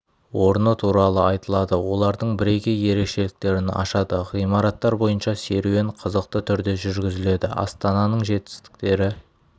орны туралы айтылады олардың бірегей ерекшеліктерін ашады ғимараттар бойынша серуен қызықты түрде жүргізіледі астананың жетістіктері